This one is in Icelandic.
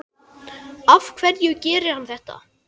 Af hverju gerir hann þetta?